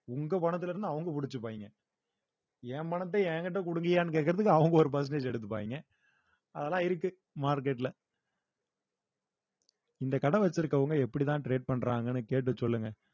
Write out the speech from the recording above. உங்க பணத்திலே இருந்து அவுங்க பிடிச்சுப்பாய்ங்க என் பணத்தை என் கிட்ட கொடுங்கய்யான்னு கேட்கிறதுக்கு அவங்க ஒரு percentage எடுத்துப்பாங்க அதெல்லாம் இருக்கு market ல இந்த கடை வச்சிருக்கவங்க எப்படித்தான் trade பண்றாங்கன்னு கேட்டு சொல்லுங்க